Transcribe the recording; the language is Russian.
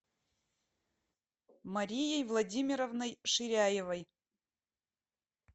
марией владимировной ширяевой